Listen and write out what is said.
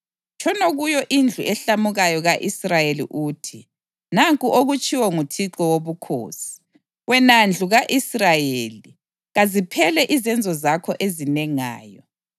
Tshono kuyo indlu ehlamukayo ka-Israyeli uthi, ‘Nanku okutshiwo nguThixo Wobukhosi: Wena ndlu ka-Israyeli, kaziphele izenzo zakho ezinengayo!